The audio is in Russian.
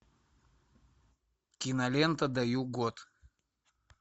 кинолента даю год